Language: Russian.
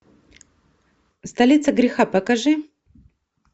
столица греха покажи